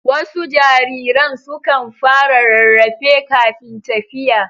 Wasu jariran sukan fara rarrafe kafin tafiya.